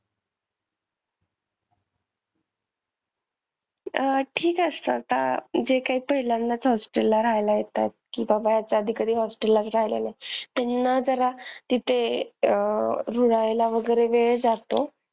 अह ठीक असतात जे काही पहिल्यांदाच hostel ला रहायला येतात कि बाबा ह्याच्या आधी कधी elhost ला राहिले नाही त्यांना जरा इथे अह रुळायला वैगरे वेळ जातो.